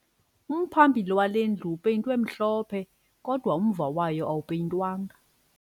Umphambili wale ndlu upeyintwe mhlophe kodwa umva wayo awupeyintwanga